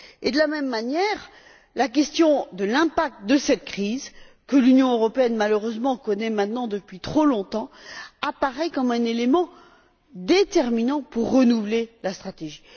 De la même manière, la question de l'impact de cette crise que l'Union européenne, malheureusement, connaît maintenant depuis trop longtemps apparaît comme un élément déterminant pour renouveler la stratégie.